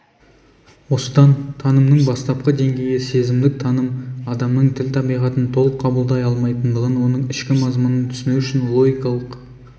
осыдан танымның бастапқы деңгейі сезімдік таным адамның тіл табиғатын толық қабылдай алмайтындығын оның ішкі мазмұнын түсіну үшін логикалық